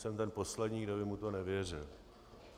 Jsem ten poslední, kdo by mu to nevěřil.